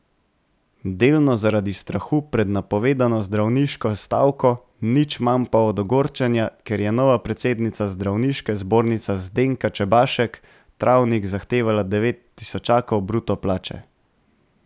Delno zaradi strahu pred napovedano zdravniško stavko, nič manj pa od ogorčenja, ker je nova predsednica Zdravniške zbornice Zdenka Čebašek Travnik zahtevala devet tisočakov bruto plače.